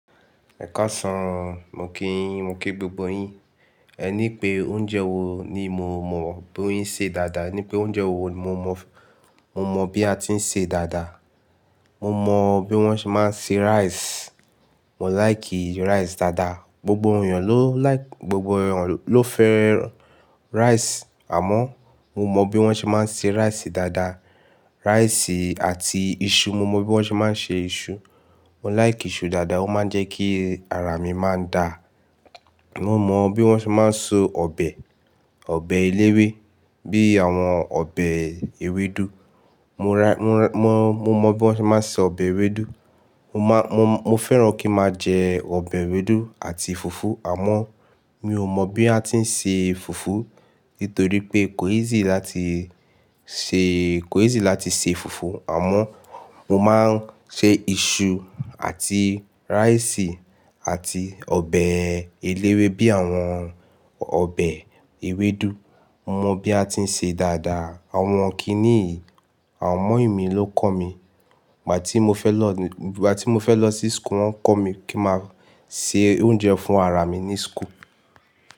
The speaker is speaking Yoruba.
Ẹkasan mo kí yín, mo kí gbogbo yín. Ẹ ní pé oúnjẹ wo ni mo mọ̀ bó ye n ṣe dáadáa? Ní pé oúnjẹ wo ni mo mọ̀, mo mọ̀ bí a ti ń ṣe dáadáa. Mo mọ bí wọ́n ṣe máa ń se rice. Mo like i rice dáadáa. Gbogbo ènìyàn ló like, gbogbo ènìyàn ló fẹ́ rice àmọ́ mo mọ bí wọ́n ṣe máa ń se rice dáadáa. Rice àti iṣu, mo mọ bí wọ́n ṣe máa ń se iṣu. Mo like iṣu dáadáa, ó máa ń jẹ́ kí ara mi máa ń da. Mo mọ bí wọ́n ṣe máa ń so ọbẹ̀, ọbẹ̀ eléwé bíi àwọn ọbẹ̀ ewédú. Mo ra, mo, mọ, mo mọ bí wọ́n ṣe máa ń se ọbẹ̀ ewédú. Mo má, mo, mo fẹ́ràn kí máa jẹ ọbẹ̀ ewédú àti fùfú àmọ́ mi ò mọ̀ bí a ti ń ṣe fùfú nítorí pé kò easy láti ṣe, kò easy láti ṣe fùfú àmọ́ mo máa ń ṣe iṣu àti rice àti ọbẹ̀ eléwé bíi àwọn ọbẹ̀ ewédú. Mo mọ bí a ti ń ṣe dáadáa. Àwọn kíníì, à mọ́yìn mí ló kọ́ mi. Ìgbà tí mo fẹ́ lọ ní, ìgbà tí mo fẹ́ lọ sí school wọ́n kọ́ mi kí máa se oúnjẹ fún ara mi ní school.